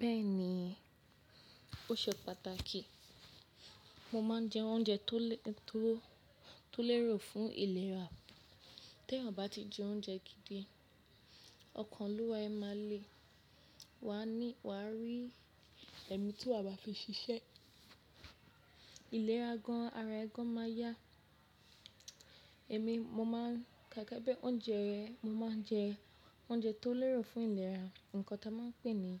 Bẹ́ẹ̀ni, ó ṣe pàtàkì. Mo máa ń jẹ oúnjẹ tó--to lérò fún ìlera. Tẹ́ ọ̀ bá ti jẹ oúnjẹ gidi, ọkàn lówó ẹ máa le, wàá ni--waa ni ẹ̀mí tí wà á fi ṣiṣẹ́. Ìlera gan ara ẹ gan máa yá. Èmi mo máa ń kàká bẹ́ẹ̀ oúnjẹ, mo máa ń jẹ oúnjẹ tó lérò fún ìlera. Ǹkan ta máa ń pè é ní